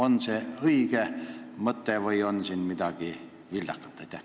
On see õige mõte või on selles midagi vildakat?